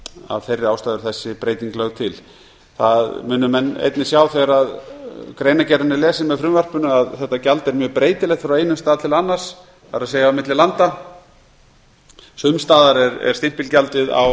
af þeirri ástæðu er þessi breyting lögð til það munu menn einnig sjá þegar greinargerðin er lesin með frumvarpinu að þetta gjald er mjög breytilegt frá einum stað til annars það er milli landa sums staðar er stimpilgjaldið á